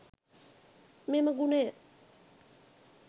මෙම ගුණය